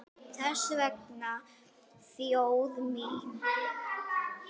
Þess vegna þjóð mín!